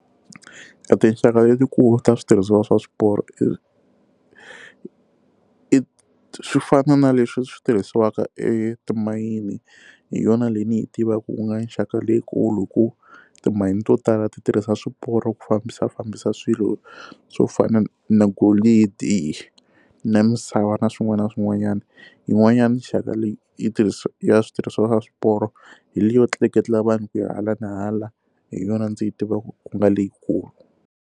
Etinxaka letikulu ta switirhisiwa swa swiporo i i swi fana na leswi swi tirhisiwaka etimayini hi yona leyi ni yi tivaka ku nga nxaka leyikulu hi ku timayini to tala ti tirhisa swiporo ku fambisa fambisa swilo swo fana na golidi na misava na swin'wana na swin'wanyana yin'wanyana nxaka leyi yi tirhisi ya switirhisiwa swa swiporo hi leyo tleketla vanhu ku yi hala na hala hi yona ndzi yi tiva ku nga leyikulu.